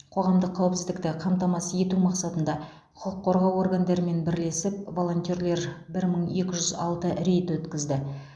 қоғамдық қауіпсіздікті қамтамасыз ету мақсатында құқық қорғау органдарымен бірлесіп волонтерлар бір мың екі жүз алты рейд өткізді